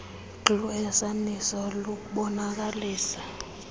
glu ehasaniso lubonakalisa